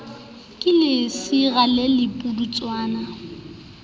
ke lesira le le pudutswana